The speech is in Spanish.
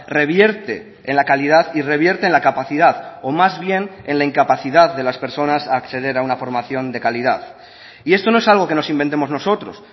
revierte en la calidad y revierte en la capacidad o más bien en la incapacidad de las personas a acceder a una formación de calidad y esto no es algo que nos inventemos nosotros